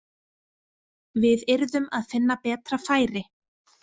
Við yrðum að finna betra færi.